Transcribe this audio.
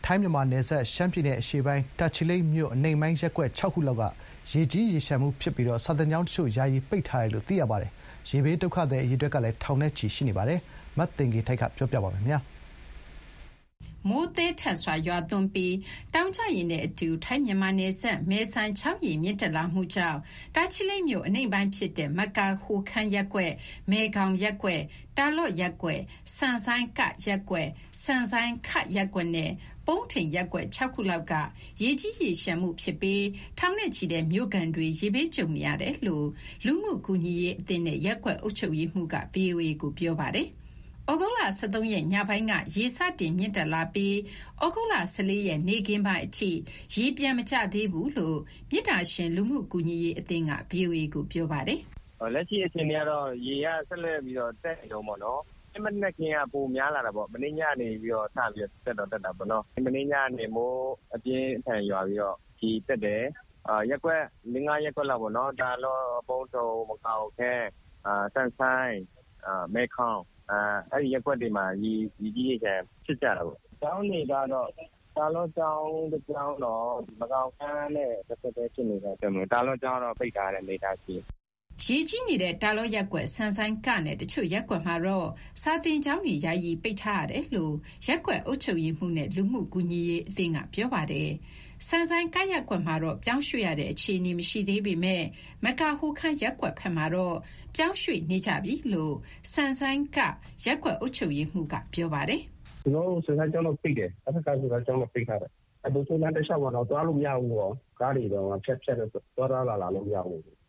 ိုင်း-မြန်မာနယ်စပ် ရှမ်းပြည်နယ်အရှေ့ပိုင်း တာချီလိတ်မြို့ အနိမ့်ပိုင်း ရပ်ကွက် ၆ ခုလောက်မှာ ရေကြီးရေလျှံနေပြီးစာသင်ကျောင်းတချို့ ယာယီပိတ်ထားရတယ်လို့ သိရပါတယ်။ ရေဘေးဒုက္ခသည် အရေအတွက်လည်း ထောင်နဲ့ချီရှိနေပါတယ်။တာချီလိတ်မြို့ ရေကြီးမှုအခြေအနေ ရန်ကုန်က သတင်းပေးပို့တာကို မသိင်္ဂီထိုက်က တင်ပြပေးထားပါတယ်။ မိုးသည်းထန်စွာ ရွာသွန်းပြီး တောင်ကျရေနဲ့အတူ ထိုင်း-မြန်မာနယ်စပ် မယ်ဆိုင်ချောင်းရေ မြင့်တက်လာတာ ကြောင့် တာချီလိတ်မြို့အနိမ့်ပိုင်းဖြစ်တဲ့ မကာဟိုခမ်းရပ်ကွက်၊ မယ်ခေါင်ရပ်ကွက်၊ တာလော့ရပ်ကွက်၊ ဆန်ဆိုင်း ရပ်ကွက်၊ ဆန်ဆိုင်း ရပ်ကွက်နဲ့ ပုန်းထိန်ရပ်ကွက် ၆ ခုလောက်က ရေကြီးရေလျှံပြီး ထောင်နဲ့ချီတဲ့ မြို့ခံတွေ ရေဘေးကြုံနေရတယ်လို့ လူမှုကူညီရေးအသင်းနဲ့ ရပ်ကွက်အုပ်ချုပ်ရေးမှူးက ဗွီအိုအေကို ပြောပါ တယ်။ သြဂုတ်လ ၁၃ ရက် ညပိုင်းက ရေစတင် မြင့်တက်လာပြီးဩဂုတ်လ ၁၄ ရက် နေ့ခင်းပိုင်းအထိ ရေပြန်မကျသေးဘူးလို့ မေတ္တာရှင်လူမှုကူညီရေးအသင်းက ဗွီအိုအေကို ပြောပါတယ်။ “လက်ရှိအခြေအနေကတော့ ရေက ဆက်လက်ပြီးတော့ တက်နေတုန်းပေါ့နော်။ ဒီနေ့မနက်ခင်းက ပိုများလာ တာပေ့ါ၊ မနေ့ညကနေပြီးတော့ စပြီးတက်တော့ တက်တာပေါ့နော်။ မိုးအပြင်းအထန်ရွာပြီးတော့ ရေတက်တယ်၊ ရပ်ကွက် ၄၊ ၅ ရပ်ကွက်လောက်ပေါ့နော် တာလော့၊ ပုန်းထွန်၊ မကာဟိုခမ်း၊ ဆန်ဆိုင်း၊ မယ်ခေါင် အဲ့ရပ်ကွက်တွေ မှာ ရေကြီးရေလျှံဖြစ်ကြတယ်ပေါ့။ ကျောင်းတွေကတော့ တာလော့ကျောင်းတကျောင်းတော့ မကာဟိုခမ်းနဲ့ တဆက်တည်း ဖြစ်နေတော့ တာလော့ကျောင်းတော့ ပိတ်ထားရတဲ့အနေအထားရှိတယ်။” ရေကြီးနေတဲ့ တာလော့ရပ်ကွက်၊ ဆန်ဆိုင်း နဲ့ တချို့ရပ်ကွက်မှာတော့ စာသင်ကျောင်းတွေ ယာယီပိတ်ထား ရတယ်လို့ရပ်ကွက်အုပ်ချုပ်ရေးမှူးနဲ့ လူမှုကူညီရေးအသင်းက ပြောပါတယ်။ ဆန်ဆိုင်း ရပ်ကွက်မှာတော့ ပြောင်းရွှေ့ရတဲ့ အခြေအနေမရှိသေးပေမယ့် မကာဟိုခမ်းရပ်ကွက်ဘက်မှာတော့ ပြောင်းရွှေ့နေကြပြီလို့ ဆန်ဆိုင်း ရပ်ကွက်အုပ်ချုပ်ရေးမှူးက ပြောပါတယ်။ “ကျနော်တို့ ဆန်ဆိုင်း ကျောင်းတော့ ပိတ်တယ်၊ အထက ဆန်ဆိုင်းကျောင်းတော့ ပိတ်ထားတယ်။ ဗိုလ်ချုပ် လမ်းတလျှောက်မှာတော့ သွားလို့မရဘူး၊ ကားတွေ ဖြတ်သွားဖြတ်လာလို့မရဘူး။